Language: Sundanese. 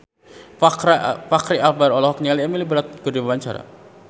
Fachri Albar olohok ningali Emily Blunt keur diwawancara